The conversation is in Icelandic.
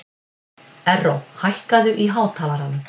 Erró, hækkaðu í hátalaranum.